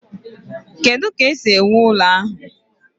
Kedu ka esi wuo ụlọ ahụ?